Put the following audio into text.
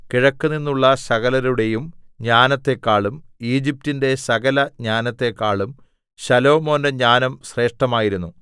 കിഴക്കുനിന്നുള്ള സകലരുടെയും ജ്ഞാനത്തെക്കാളും ഈജിപ്റ്റിന്റെ സകലജ്ഞാനത്തെക്കാളും ശലോമോന്റെ ജ്ഞാനം ശ്രേഷ്ഠമായിരുന്നു